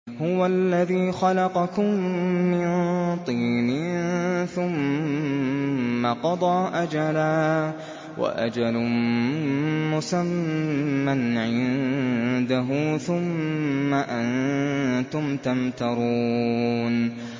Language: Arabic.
هُوَ الَّذِي خَلَقَكُم مِّن طِينٍ ثُمَّ قَضَىٰ أَجَلًا ۖ وَأَجَلٌ مُّسَمًّى عِندَهُ ۖ ثُمَّ أَنتُمْ تَمْتَرُونَ